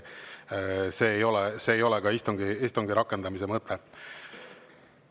See ei ole ka istungi rakendamise mõte.